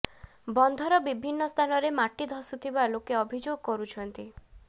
ବନ୍ଧର ବିିଭିନ୍ନ ସ୍ଥାନରେ ମାଟି ଧସୁଥିବା ଲୋକେ ଅଭିଯୋଗ କରୁଛନ୍ତି